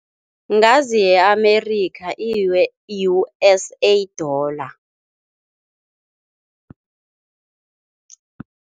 Ngazi ye-Amerikha i-U_S_A dollar.